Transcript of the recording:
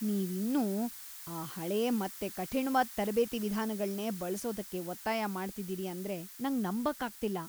ನೀವು ಇನ್ನೂ ಆ ಹಳೆ ಮತ್ತೆ ಕಠಿಣ್ವಾದ್ ತರಬೇತಿ ವಿಧಾನಗಳ್ನೇ ಬಳ್ಸೋದಕ್ಕೆ ಒತ್ತಾಯ ಮಾಡ್ತಿದೀರಿ ಅಂದ್ರೆ ನಂಗ್ ನಂಬಕ್ಕಾಗ್ತಿಲ್ಲ!